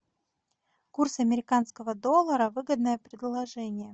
курс американского доллара выгодное предложение